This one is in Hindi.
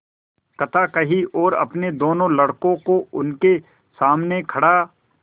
कथा कही और अपने दोनों लड़कों को उनके सामने खड़ा